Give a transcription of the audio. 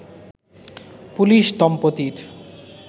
police দম্পতির